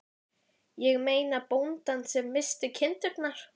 Ég meina bóndann sem missti kindurnar.